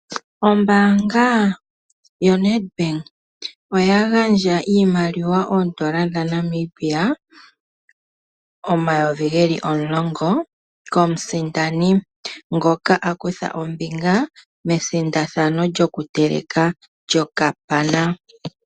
Ombaanga yoNedbank oya gandja iimaliwa oondola dhaNamibia omayovi geli omulongo komusindani, ngoka a kutha ombinga methigathano lyokuteleka okapana.